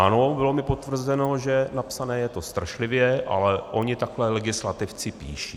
Ano, bylo mi potvrzeno, že napsané je to strašlivě, ale oni takhle legislativci píší.